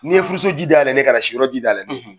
Ni ye furu so ji da yɛlenen ye, ka na si yɔrɔ ji da yɛlɛnen ye.